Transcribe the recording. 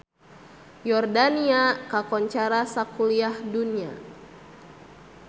Yordania kakoncara sakuliah dunya